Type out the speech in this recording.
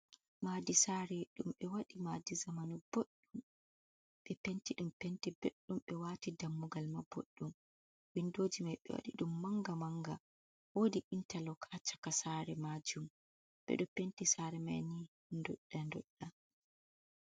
Madi sare ɗum ɓe waɗi madi zamanu ɓoɗɗum ɓe penti ɗum penti beɗɗum ɓe wati dammugal ma ɓoɗɗum windoji mai ɓe waɗi ɗum manga manga, wodi intalok ha caka sare majum ɓeɗo penti sare mai ni ndoɗa nɗoɗa.